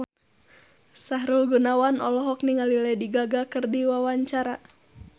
Sahrul Gunawan olohok ningali Lady Gaga keur diwawancara